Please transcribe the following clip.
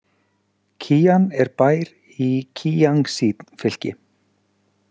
Kían er bær i Kíangsí- fylki.